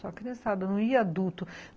só a criançada, não ia adulto.